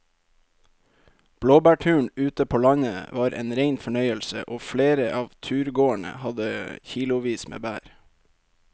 Blåbærturen ute på landet var en rein fornøyelse og flere av turgåerene hadde kilosvis med bær.